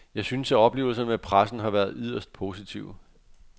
Jeg synes, at oplevelserne med pressen har været yderst positive.